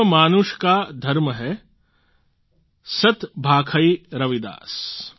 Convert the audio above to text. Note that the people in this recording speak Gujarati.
કર્મ માનુષ કા ધર્મ હૈ સત ભાખૈ રવિદાસ